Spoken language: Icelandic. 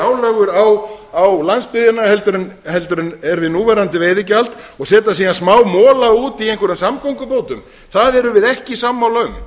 álögur á landsbyggðina heldur en er við núverandi veiðigjald og setja síðan smámola út í einhverjum samgöngubótum um það erum við ekki sammála